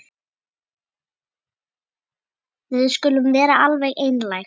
Við skulum vera alveg einlæg.